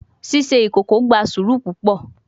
Ṣiṣe ikoko gba sũru pupọ